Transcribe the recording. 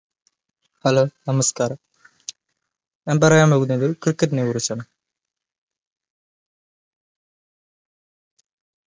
hallo നമസ്കാര ഞാൻ പറയാൻ പോകുന്നത് cricket കുറിച്ചാണ്